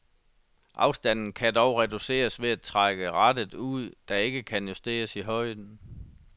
Afstanden kan dog reduceres ved at trække rattet ud, der ikke kan justeres i højden.